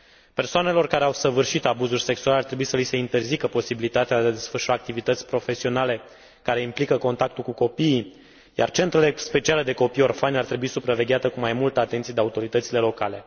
Persoanelor care au săvârșit abuzuri sexuale ar trebui sa li se interzică posibilitatea de a desfășura activități profesionale care implică contactul cu copiii, iar centrele speciale de copii orfani ar trebui supravegheate cu mai multă atenție de autoritățile locale.